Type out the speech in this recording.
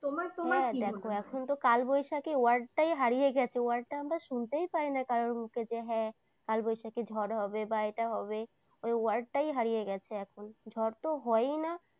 তোমার তোমার কি মনে হয়? হ্যাঁ দেখো এখন তো কালবৈশাখী word টাই হারিয়ে গেছে । word টা আমরা শুনতেই পাইনা কারো মুখে। হ্যাঁ কালবৈশাখী ঝড় হবে, এটা হবে ওই word টাই হারিয়ে গেছে এখন। ঝড় তো হয়ই না।